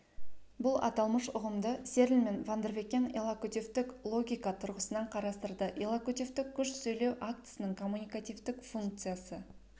бұл аталмыш ұғымды серль мен вандервекен иллокутивтік логика тұрғысынан қарастырды иллокутивтік күш сөйлеу актісінің коммуникативтік функциясы